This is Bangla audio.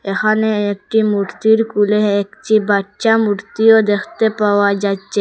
এখানে একটি মূর্তির কুলে একটি বাচ্চা মূর্তিও দেখতে পাওয়া যাচ্চে ।